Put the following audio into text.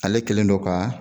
Ale kelen don ka.